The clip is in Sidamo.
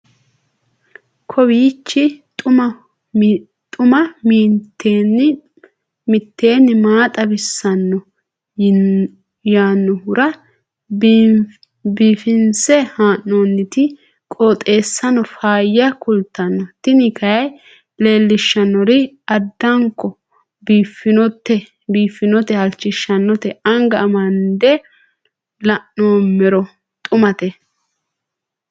kowiicho xuma mtini maa xawissanno yaannohura biifinse haa'noonniti qooxeessano faayya kultanno tini kayi leellishshannori addanko biiffannote halchishshannote anga amande la'noommero xumate